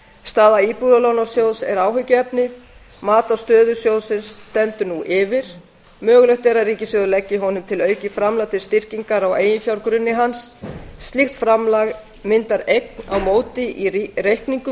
staða íbúðalánasjóðs áhyggjuefni mat á stöðu sjóðsins stendur nú yfir mögulegt er að ríkissjóður leggi honum til aukið framlag til styrkingar á eiginfjárgrunni hans slíkt framlag myndar eign á móti í reikningum